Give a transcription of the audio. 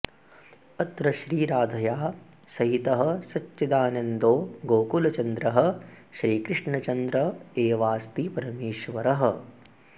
अत्र श्रीराधया सहितः सच्चिदानन्दो गोकुलचन्द्रः श्रीकृष्णचन्द्र एवास्ति परमेश्वरः